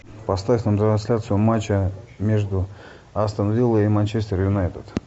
поставь нам трансляцию матча между астон виллой и манчестер юнайтед